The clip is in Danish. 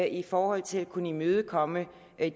i forhold til at kunne imødekomme